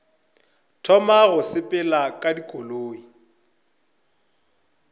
thoma go sepela ka dikoloi